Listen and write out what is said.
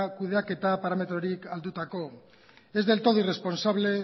kudeaketa parametrorik aldatuko es del todo irresponsable